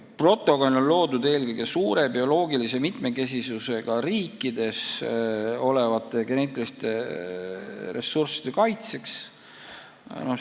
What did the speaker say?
Protokoll on koostatud eelkõige suure bioloogilise mitmekesisusega riikides olevate geneetiliste ressursside kaitseks.